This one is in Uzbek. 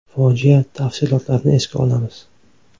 Fojia tafsilotlarini esga olamiz.